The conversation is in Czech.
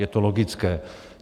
Je to logické.